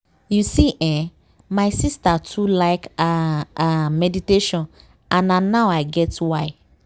you see eh my sister too like ah ah meditation and na now i get why.